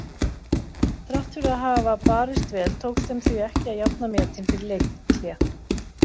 Þrátt fyrir að hafa barist vel tókst þeim því ekki að jafna metin fyrir leikhlé.